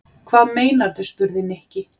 Hvað meinarðu? spurði Nikki.